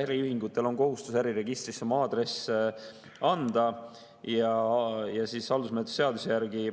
Äriühingutel on kohustus äriregistrisse oma aadress anda ja haldusmenetluse seaduse järgi